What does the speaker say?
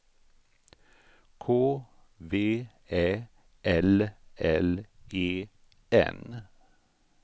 K V Ä L L E N